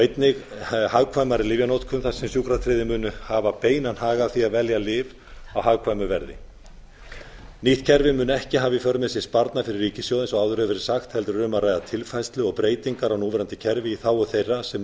einnig hagkvæmari lyfjanotkun þar sem sjúkratryggðir munu hafa beinan hag af því að velja lyf á hagkvæmu verði nýtt kerfi mun ári alla í för með sér sparnað fyrir ríkissjóð eins og áður hefur verið sagt heldur er a um að ræða tilfærslu og breytingar á núverandi í þágu þeirra sem